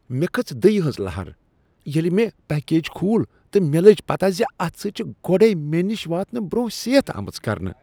مےٚ کھٔژ دٕیہ ہنز لہر ییلِہ مےٚ پکیج کھول تہٕ مےٚ لٔج پتہٕ زِ اتھ سۭتۍ چھےٚ گۄڈے مےٚ نش واتنہٕ برونٛہہ سیتھ آمٕژ کرنہٕ۔